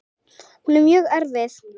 Hún er mjög erfið.